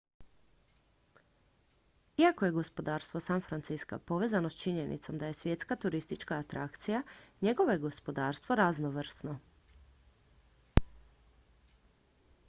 iako je gospodarstvo san francisca povezano s činjenicom da je svjetska turistička atrakcija njegovo je gospodarstvo raznovrsno